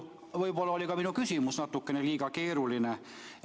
Võib-olla oli ka minu küsimus natukene liiga keeruline.